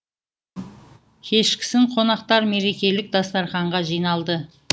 кешкісін қонақтар мерекелік дастарқанға жиналды